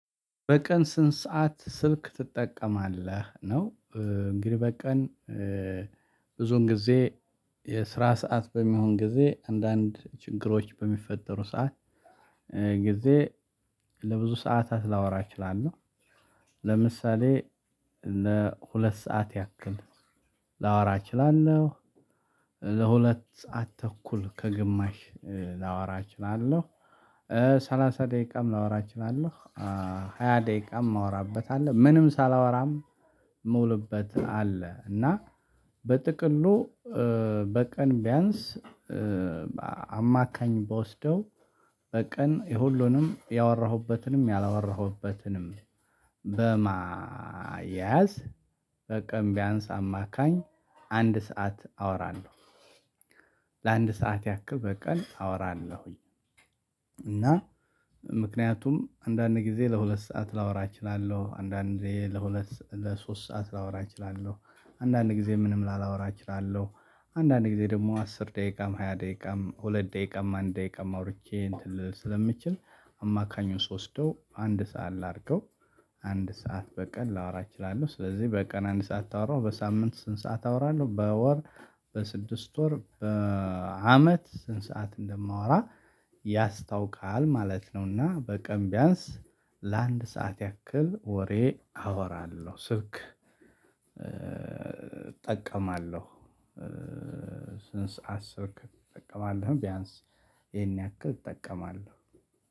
በቀን ስንት ሰዓት ስልክ ትጠቀማለህ? ነው እንግዲህ በቀን ብዙን ጊዜ የስራ ሰዓት በሚሆን ጊዜ አንዳንድ ችግሮች በሚፈጠሩ ሰዓት ጊዜ ለብዙ ሰዓታት ላወራ እችላለሁ ለምሳሌ ለሁለት ሰዓት ያክል ላወራ እችላለሁ ለሁለት ሰዓት ተኩል ከግማሽ ላወራ እችላለሁ ሠላሣ ደቂቃም ላወራ እችላለሁ ሃያ ደቂቃም የማወራበት አለ ምንም ሳላወራም ምውልበት አለ እና በጥቅሉ በቀን ቢያንስ አማካኝ በወስደው በቀን የሁሉንም ያወራሁበትንም ያላወራሁበትንም በማያዝ በቀን ቢያንስ አማካኝ አንድ ሰዓት አወራለሁ። ለአንድ ሰዓት ያክል በቀን አወራለሁኝእና ምክንያቱም አንዳንድ ጊዜ ለሁለት ሰዓት ላወራ እችላለሁ አንዳንዴ ለሁለት ለሶስት ሰዓት ላወራ እችላለሁ አንዳንድ ጊዜ ምንም ላላወራ እችላለሁ አንዳንድ ጊዜ ደግሞ አስር ደቂቃም ሃያ ደቂቃም ሁለት ደቂቃም አንድ ደቂቃም አውርቼ እንትን ልል ስለምችል አማካኙን ሶስት ወስደው አንድ ሰዓት ላድርገው አንድ ሰዓት በቀን ላወራ እችላለሁ። ስለዚህ በቀን አንድ ሰዓት ታወራው በሳምንት ስንት ሰዓት አወራለሁ በወር በስድስት ወር በአመት ስንት ሰዓት እንደማወራ ያስታውቃል ማለት ነውና። በቀን ቢያንስ ለአንድ ሰዓት ያክል ወሬ አወራለሁ ስልክ እጠቀማለሁ። ስንት ሰዓት ስልክ እጠቀማለሁ? ቢያንስ ይሄን ያክል እጠቀማለሁ።